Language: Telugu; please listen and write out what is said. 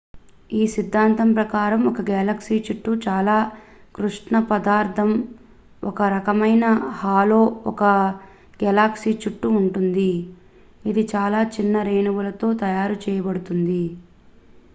ఈ సిద్ధాంతం ప్రకారం ఒక గెలాక్సీ చుట్టూ చాలా కృష్ణ పదార్థం ఒక రకమైన హాలో ఒక గెలాక్సీ చుట్టూ ఉంటుంది ఇది చాలా చిన్న రేణువులతో తయారు చేయబడుతుంది